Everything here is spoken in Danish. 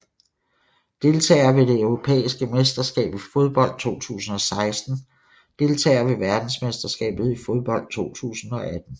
Deltagere ved det europæiske mesterskab i fodbold 2016 Deltagere ved verdensmesterskabet i fodbold 2018